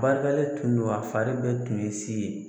tun do a fari bɛɛ tun ye si ye.